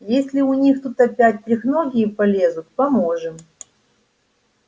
если у них тут опять трехногие полезут поможем